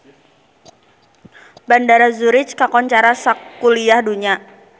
Bandara Zurich kakoncara sakuliah dunya